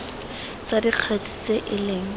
tsa dikgetse tse e leng